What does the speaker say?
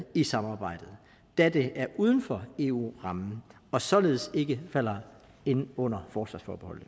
i samarbejdet da det er uden for eu rammen og således ikke falder ind under forsvarsforbeholdet